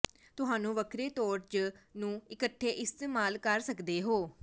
ਤੁਹਾਨੂੰ ਵੱਖਰੇ ਤੌਰ ਜ ਨੂੰ ਇਕੱਠੇ ਇਸਤੇਮਾਲ ਕਰ ਸਕਦੇ ਹੋ